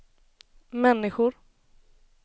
människor